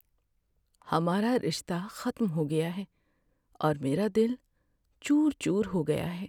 ہمارا رشتہ ختم ہو گیا ہے اور میرا دل چور چور ہو گیا ہے۔